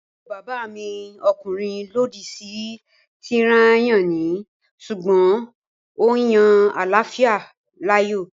Àbúrò bàbá mi ọkùnrin lòdì sí tíráyánì sùgbọ́n ó yan àláfíà láàyò